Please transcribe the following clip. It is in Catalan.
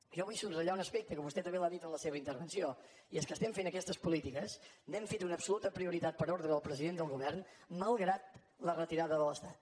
jo vull subratllar un aspecte que vostè també l’ha dit en la seva intervenció i és que estem fent aquestes polítiques n’hem fet una absoluta prioritat per ordre del president del govern malgrat la retirada de l’estat